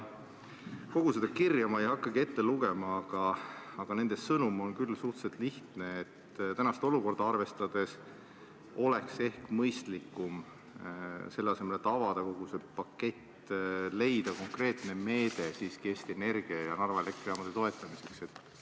Kogu seda kirja ma ei hakka ette lugema, aga nende sõnum on küll suhteliselt lihtne: tänast olukorda arvestades oleks ehk mõistlikum, selle asemel et avada kogu see pakett, leida konkreetne meede siiski Eesti Energia ja Narva Elektrijaamade toetamiseks.